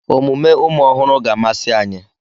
Omume ụmụ ọhụrụ ga-amasị anyị.